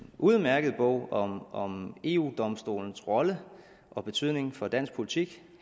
udmærket bog om om eu domstolens rolle og betydning for dansk politik